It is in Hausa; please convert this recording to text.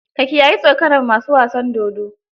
Ka kiyayi tsokanar masu wasan dodo.